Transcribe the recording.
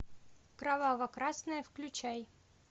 кроваво красное включай